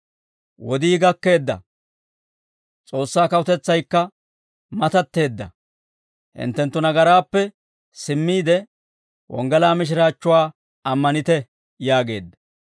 «Wodii gakkeedda; S'oossaa kawutetsaykka matatteedda. Hinttenttu nagaraappe simmiide, wonggalaa mishiraachchuwaa ammanite» yaageedda.